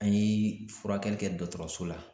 An ye furakɛli kɛ dɔgɔtɔrɔso la